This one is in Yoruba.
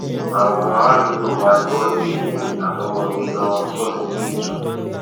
àwọn àràádúgbò wa ni wọn gbé èmi àtọmọ mi lọ ṣọsibítù